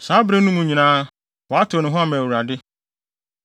Saa bere no mu nyinaa, wɔatew ne ho ama Awurade.